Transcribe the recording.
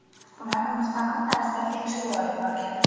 Ular mustaqil tarzda tekshiruv olib borgan.